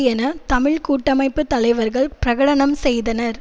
என தமிழ் கூட்டமைப்பு தலைவர்கள் பிரகடனம் செய்தனர்